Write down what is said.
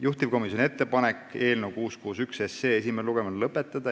Juhtivkomisjoni ettepanek on eelnõu 661 esimene lugemine lõpetada.